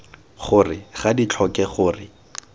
gore ga di tlhoke gore